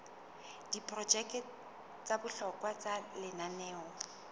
diprojeke tsa bohlokwa tsa lenaneo